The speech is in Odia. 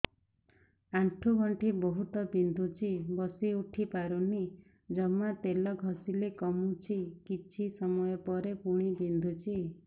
ଆଣ୍ଠୁଗଣ୍ଠି ବହୁତ ବିନ୍ଧୁଛି ବସିଉଠି ପାରୁନି ଜମା ତେଲ ଘଷିଲେ କମୁଛି କିଛି ସମୟ ପରେ ପୁଣି ବିନ୍ଧୁଛି